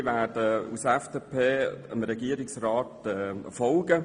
Wir werden dem Regierungsrat folgen.